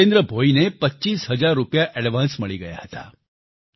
જિતેન્દ્ર ભોઈને પચ્ચીસ હજાર રૂપિયા એડવાન્સ મળી ગયા હતા